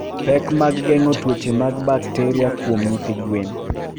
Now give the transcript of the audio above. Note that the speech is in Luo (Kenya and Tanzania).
Pek mag geng'o tuoche mag bakteriakuom nyithi gwen.